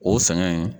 O sɛgɛn in